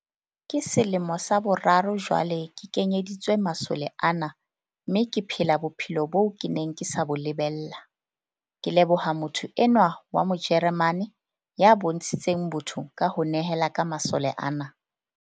"Ke selemo sa boraro jwale ke kenyeditswe masole ana mme ke phela bophelo boo ke neng ke sa bo lebella, ke leboha motho enwa wa Mo jeremane ya bontshitseng botho ka ho nehela ka masole ana."